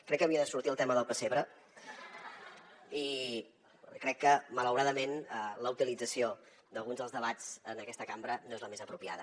crec que havia de sortir el tema del pessebre i crec que malauradament la utilització d’alguns dels debats en aquesta cambra no és la més apropiada